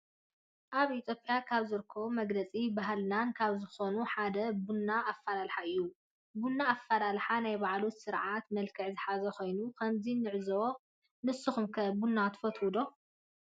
አብ ኢትዮጲያ ካብ ዝርከቡ መግለፂ ባህልታትና ካብ ዝኮኑ ሓደ ቡና አፈላላሓና እዩ። ቡና አፈላላሓ ናይ ባዓሉ ስርዓት መልክዕን ዝሓዘ ኮይኑ ከምዚ ንዕዘቦ። ንስኩም ከ ቡና ትፈትው ዶ?